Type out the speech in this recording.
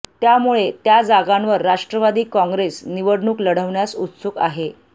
त्यामुळे त्या जागांवर राष्ट्रवादी काँग्रेस निवडणूक लढवण्यास उत्सुक आहे